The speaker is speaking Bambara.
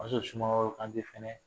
O y'a sɔrɔ sumaworo kante fɛnɛ